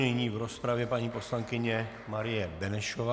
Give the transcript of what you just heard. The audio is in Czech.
Nyní v rozpravě paní poslankyně Marie Benešová.